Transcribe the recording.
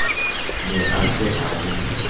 ne a se a le